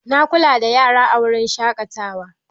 Na kula da yara a wurin shaƙatawa.